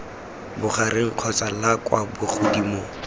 bogareng kgotsa la kwa bogodimong